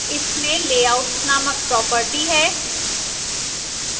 इसमें layouts named property है